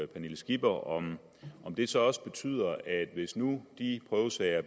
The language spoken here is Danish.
pernille skipper om det så også betyder at hvis nu de prøvesager